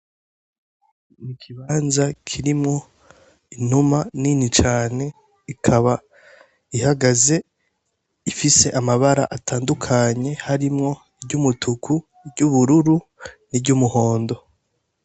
Mu ikibanza kirimwo intuma nini cane ikaba ihagaze ifise amabara atandukanye harimwo iry' umutuku iry' ubururu ni ry umuhondo.